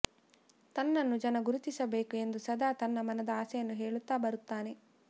ತನ್ನನ್ನು ಜನ ಗುರುತಿಸಬೇಕು ಎಂದು ಸದಾ ತನ್ನ ಮನದ ಆಸೆಯನ್ನು ಹೇಳುತ್ತಾ ಬರುತ್ತಾನೆ